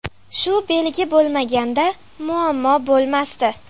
Shu belgi bo‘lmaganda, muammo bo‘lmasdi.